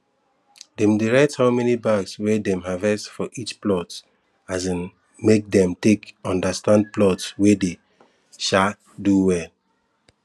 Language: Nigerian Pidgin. dem dey write how many bags we dem harvest for each plot um make dem take understand plot wey dey um do well